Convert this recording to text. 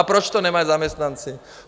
A proč to nemají zaměstnanci?